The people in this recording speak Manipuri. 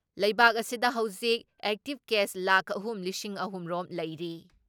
ꯂꯩꯕꯥꯛ ꯑꯁꯤꯗ ꯍꯧꯖꯤꯛ ꯑꯦꯛꯇꯤꯞ ꯀꯦꯁ ꯂꯥꯈ ꯑꯍꯨꯝ ꯂꯤꯁꯤꯡ ꯑꯍꯨꯝ ꯔꯣꯝ ꯂꯩꯔꯤ ꯫